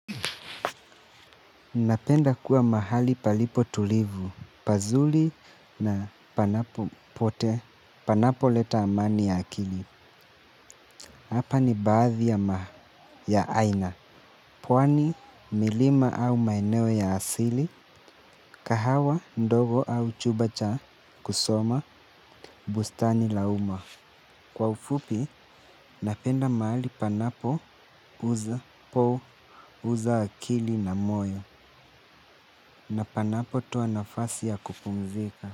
Napenda kuwa mahali palipo tulivu, pazuri na panapo pote, panapo leta amani ya akili. Hapa ni baadhi ya aina. Pwani, milima au maeneo ya asili, kahawa, ndogo au chumba cha kusoma, bustani la uma. Kwa ufupi, napenda mahali panapo uza po uza akili na moyo na panapo toa nafasi ya kupumzika.